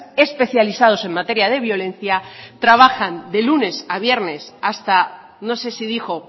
especializados en materia de violencia trabajan de lunes a viernes hasta no sé si dijo